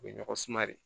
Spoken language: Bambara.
U bɛ ɲɔgɔn suma de